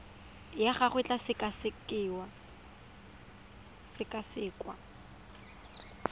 ya gago e tla sekasekwa